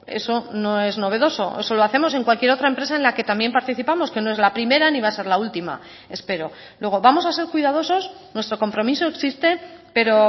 eso no es novedoso eso lo hacemos en cualquier otra empresa en la que también participamos que no es la primera ni va a ser la última espero luego vamos a ser cuidadosos nuestro compromiso existe pero